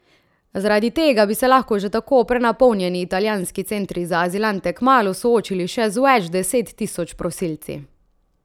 Zaradi tega bi se lahko že tako prenapolnjeni italijanski centri za azilante kmalu soočili še z več deset tisoč prosilci.